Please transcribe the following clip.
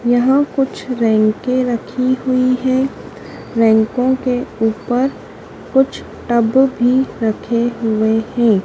यहाँ कुछ रैंके रखी हुई हैं रैंकों के ऊपर कुछ टब भी रखे हुए हैं।